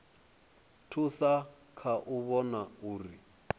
thusa kha u vhona uri